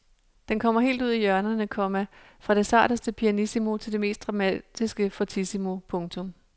Den kommer helt ud i hjørnerne, komma fra det sarteste pianissimo til det mest dramatiske fortissimo. punktum